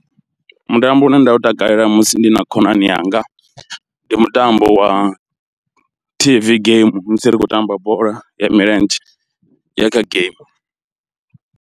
Mutambo une nda u takalela musi ndi na khonani yanga ndi mutambo wa T_V game musi ri khou tamba bola ya milenzhe ya kha game.